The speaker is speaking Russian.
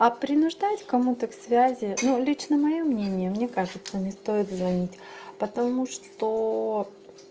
а принуждать кому-то к связи ну лично моё мнение мне кажется не стоит звонить потому что